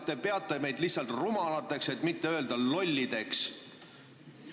Te peate meid lihtsalt rumalateks, et mitte öelda lollideks.